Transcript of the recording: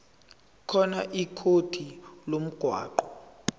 khona ikhodi lomgwaqo